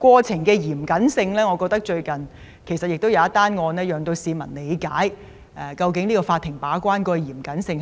過程的嚴謹性，我認為最近一宗案件能協助市民理解，法庭把關的嚴謹性。